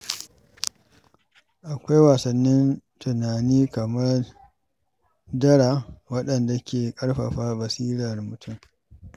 Akwai wasannin tunani kamar dara waɗanda ke ƙarfafa basirar mutum.